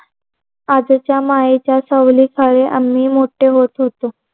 आजीच्या मायेच्या सावलीखाली आम्ही मोठे होत होतो.